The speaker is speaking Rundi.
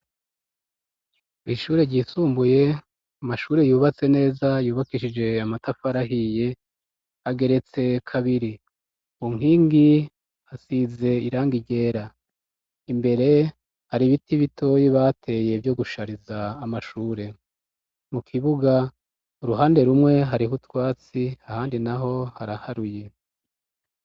Ishure ry' isumbuye, amashure yubatse neza yubakishij' amatafar' ahiy' ageretse kabiri inking' isiz' iranga ryera, imbere har' biti bitoyi bateye byo gushariz' amashure, mu kibug' uruhande rumwe harih' utwatsi, ahandi naho haraharuye, hejuru mu kirere hasa neza.